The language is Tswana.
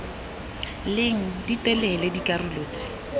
leng di telele dikarolo tse